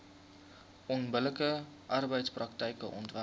onbillike arbeidspraktyke onderwerp